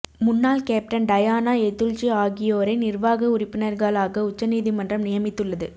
முன்னாள் captain Diana Edulji ஆகியோரை நிர்வாக உறுப்பினர்களாக உச்சநீதிமன்றம் நியமித்துள்ளது